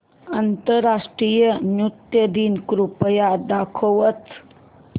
आंतरराष्ट्रीय नृत्य दिन कृपया दाखवच